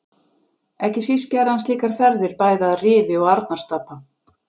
Ekki síst gerði hann slíkar ferðir bæði að Rifi og Arnarstapa.